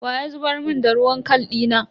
Wa ya zubar mun da ruwan kal dina?